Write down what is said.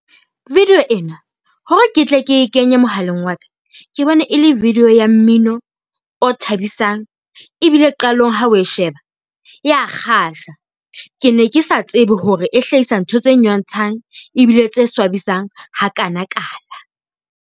Video ena hore ke tle e ke kenye mohaleng wa ka, ke bone e le video ya mmino o thabisang ebile qalong ha o e sheba ea kgahla. Ke ne ke sa tsebe hore e hlahisa ntho tse nyotshang ebile tse swabisang hakanakana.